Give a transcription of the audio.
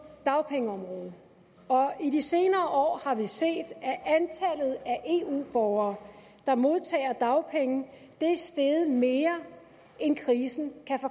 dagpengeområdet og i de senere år har vi set at antallet af eu borgere der modtager dagpenge er steget mere end krisen